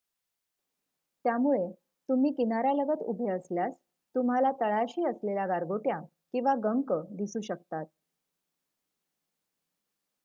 त्यामुळे तुम्ही किनार्‍यालगत उभे असल्यास तुम्हाला तळाशी असलेल्या गारगोट्या किंवा गंक दिसू शकतात